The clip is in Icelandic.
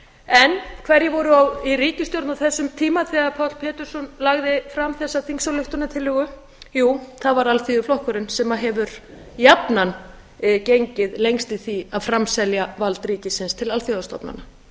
en hverjir voru í ríkisstjórn á þessum tíma þegar páll pétursson lagði fram þessa þingsályktunartillögu jú það var alþýðuflokkurinn sem hefur jafnan gengið lengst í því að framselja vald ríkisins til alþjóðastofnana